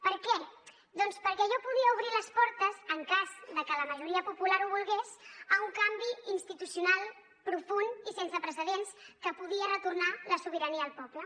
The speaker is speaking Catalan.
per què doncs perquè allò podia obrir les portes en cas de que la majoria popular ho volgués a un canvi institucional profund i sense precedents que podia retornar la sobirania al poble